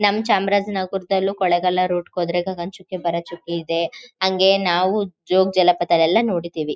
ನಮ್ಮ ಚಾಮರಾಜನಗರದಲ್ಲೂ ಕೊಲೆಗಳ ರೋಟ್ ಗೆ ಹೋದ್ರೆ ಗಗ್ಗನಚುಕ್ಕಿ ಭರಚುಕ್ಕಿ ಇದೆ. ಹಂಗೆ ನಾವು ಜೋಗಜಲಪಾತ ಎಲ್ಲ ನೋಡಿದೀವಿ.